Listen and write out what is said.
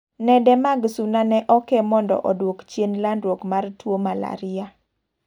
Nede mag Suna ne oke mondo oduok chien landruok mar tuo Malaria.